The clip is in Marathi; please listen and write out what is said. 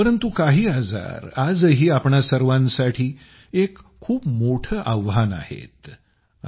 परंतु काही आजारआजही आपणा सर्वांसाठी एक खूप मोठं आव्हान म्हणून आहे